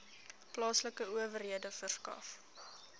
plaaslike owerhede verskaf